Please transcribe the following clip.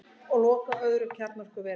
Loka öðru kjarnorkuveri